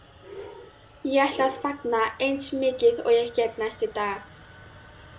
Ég ætla að fagna eins mikið og ég get næstu daga.